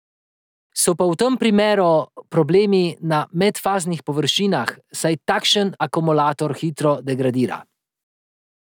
So pa v tem primeru problemi na medfaznih površinah, saj takšen akumulator hitro degradira.